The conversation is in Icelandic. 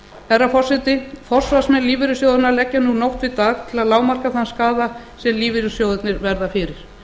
herra forseti forsvarsmenn lífeyrissjóðanna leggja nú nótt við dag til að lágmarka þann skaða sem lífeyrissjóðirnir verða fyrir